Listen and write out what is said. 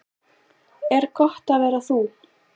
Er gott að vera þú?